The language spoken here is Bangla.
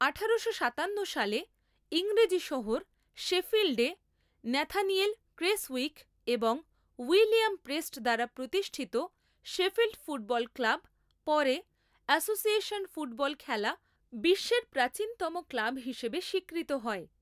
আঠারোশো সাতান্ন সালে ইংরেজি শহর শেফিল্ডে ন্যাথানিয়েল ক্রেসউইক এবং উইলিয়াম প্রেস্ট দ্বারা প্রতিষ্ঠিত শেফিল্ড ফুটবল ক্লাব, পরে, অ্যাসোসিয়েশন ফুটবল খেলা বিশ্বের প্রাচীনতম ক্লাব হিসেবে স্বীকৃত হয়।